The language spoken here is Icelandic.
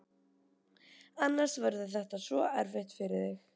Annars verður þetta svo erfitt fyrir þig.